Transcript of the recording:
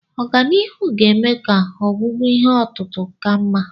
Ọganihu ga-eme ka ọgwụgwọ ihe otutu ka mma.